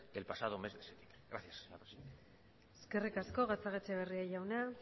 del pasado mes de septiembre gracias eskerrik asko gatzagaetxebarria jauna